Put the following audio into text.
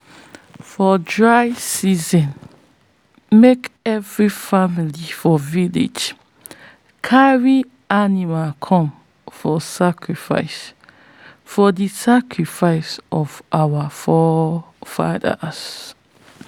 for dry season make every family for village carry animal come for the sacrifice for the sacrifice of our forefathers.